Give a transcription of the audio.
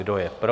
Kdo je pro?